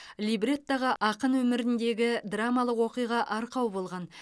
либреттоға ақын өміріндегі драмалық оқиға арқау болған